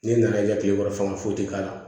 Ne nana kɛ kile kɔnɔ fan foyi tɛ k'a la